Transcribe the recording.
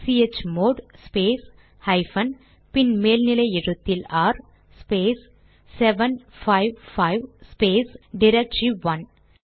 chmod space hyphen பின் மேல் நிலை எழுத்தில் ஆர் ஸ்பேஸ் 755 ஸ்பேஸ் டிரக்டரி1